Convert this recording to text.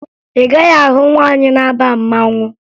Ị gaghị ahụ nwaanyị na-aba mmanwụ